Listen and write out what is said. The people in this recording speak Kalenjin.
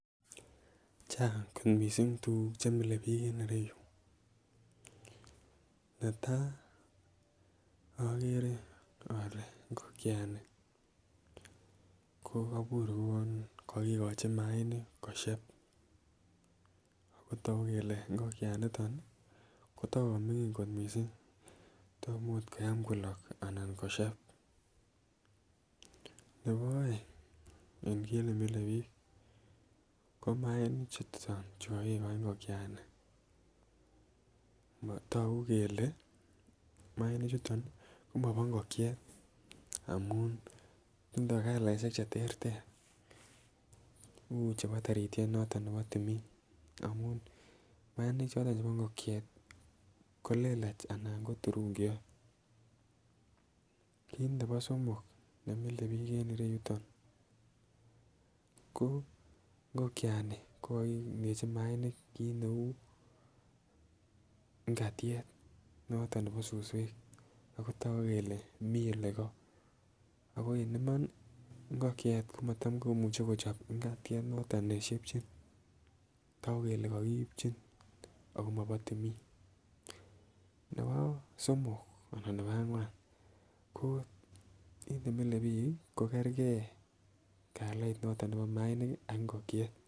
Chang kot missing tukuk chemile bik en ireyuu, netai okere ole igokiani ko kobur kouwon kokikochi mainik kosheb akotoku kele igokianiton nii kotokomingin kot missing tomot koyam kolok anan kosheb. Nebo oeng en kit nemile bik ko mainik chuu Chang chukokikoi ngokiani kotoku kele mainik chuton komobo ikokyet amun tindo kalaishek cheterter uchebo tarityet noton nebo timin amun mainik choton chebo ingokiet tii kolelach anan ko chebo turungiot. Kit nebo somok nemile bik en yuton ko ingokiani ko kokindechi mainik kit neu ikatyet noton nebo suswek akotoku kele mii ole koo ako en Imani ingokiet komotom komuche kochob ikatyet noton neshebchin toku kele kokiipchin ako mobo timin. Nebo somok anan nebo angwan ko kit nemile bik kii ko kerkee kalit noton nebo mainik kii ak ingokiet